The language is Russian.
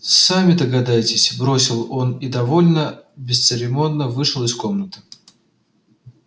сами догадайтесь бросил он и довольно бесцеремонно вышел из комнаты